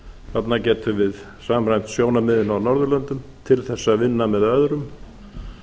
þarna getum við samræmt sjónarmiðin á norðurlöndum til þess að vinna með öðrum